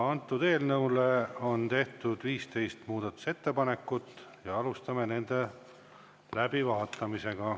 Eelnõu kohta on tehtud 15 muudatusettepanekut, alustame nende läbivaatamist.